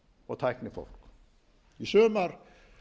og tæknifólk í sumar